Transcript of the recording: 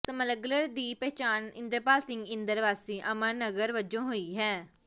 smuggler ਦੀ ਪਛਾਣ ਇੰਦਰਪਾਲ ਸਿੰਘ ਇੰਦਰ ਵਾਸੀ ਅਮਨ ਨਗਰ ਵਜੋਂ ਹੋਈ ਹੈ